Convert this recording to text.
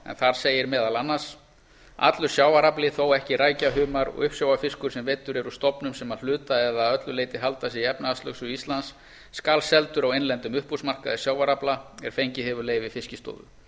en þar segir meðal annars allur sjávarafli þó ekki rækja humar og uppsjávarfiskur sem veiddur er úr stofnum sem að hluta eða öllu leyti halda sig í efnahagslögsögu íslands skal seldur á innlendum uppboðsmarkaði sjávarafla er fengið hefur leyfi fiskistofu